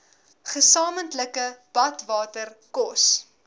gesamentlike badwater kos